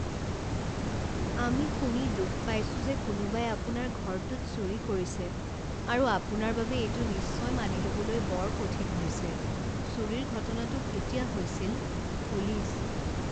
আমি শুনি দুখ পাইছোঁ যে কোনোবাই আপোনাৰ ঘৰটোত চুৰি কৰিছে আৰু আপোনাৰ বাবে এইটো নিশ্চয় মানিবলৈ বৰ কঠিন হৈছে। চুৰিৰ ঘটনাটো কেতিয়া হৈছিল? পুলিচ